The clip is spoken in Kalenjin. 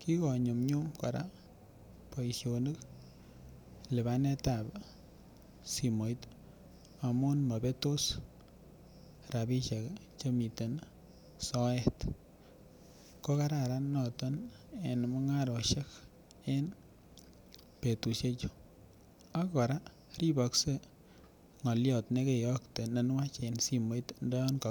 kikonyumnyum kora boisionik lipanet ab simoit amun mobetos rapisiek chemiten soet ko kararan noton en mung'arosiek en betusiek chu ak kora ribokse ng'olyot nekeyokte nenwach en simoit ndoyan koki